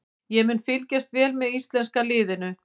Ég mun fylgjast vel með íslenska liðinu.